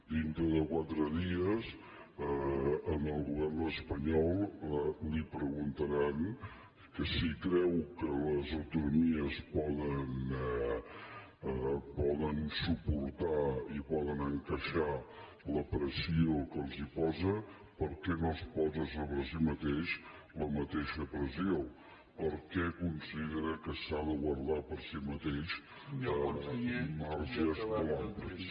dintre de quatre dies al govern espanyol li preguntaran que si creu que les autonomies poden suportar i poden encaixar la pressió que els posa per què no es posa sobre si mateix la mateixa pressió per què considera que s’ha de guardar per a si mateix marges molt amplis